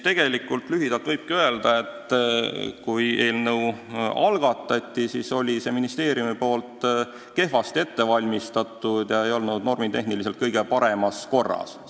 Lühidalt võibki öelda, et kui eelnõu algatati, siis oli see ministeeriumis kehvasti ette valmistatud, see ei olnud normitehniliselt kõige paremas korras.